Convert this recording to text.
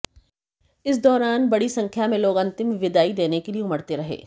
इस दौरान बड़ी संख्या में लोग अंतिम विदाई देने के लिए उमड़ते रहे